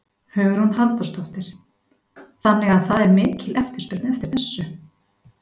Hugrún Halldórsdóttir: Þannig að það er mikil eftirspurn eftir þessu?